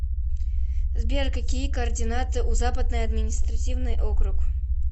сбер какие координаты у западный административный округ